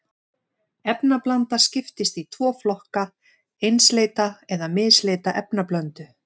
Efnablanda skiptist í tvo flokka, einsleita eða misleita efnablöndu.